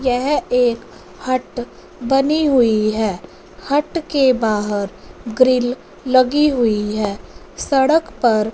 यह एक हट बनी हुईं हैं हट के बाहर ग्रिल लगी हुईं हैं सड़क पर--